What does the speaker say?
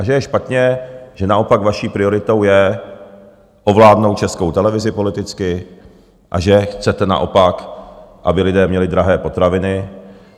A že je špatně, že naopak vaší prioritou je ovládnout Českou televizi politicky a že chcete naopak, aby lidé měli drahé potraviny.